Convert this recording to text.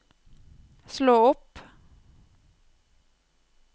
slå opp